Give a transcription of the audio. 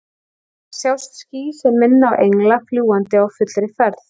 Þar sjást ský sem minna á engla, fljúgandi á fullri ferð.